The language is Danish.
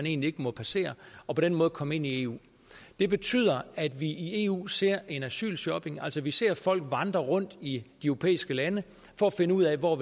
egentlig ikke må passere og på den måde komme ind i eu det betyder at vi i eu ser en asylshopping altså vi ser folk vandre rundt i de europæiske lande for at finde ud af hvor